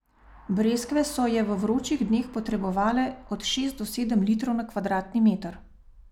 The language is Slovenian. Breskve so je v vročih dneh potrebovale od šest do sedem litrov na kvadratni meter.